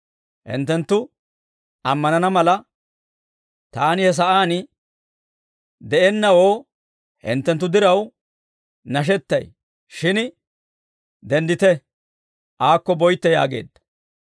Hinttenttu ammanana mala, taani he sa'aan de'ennawoo, hinttenttu diraw nashettay. Shin denddite; aakko boytte» yaageedda.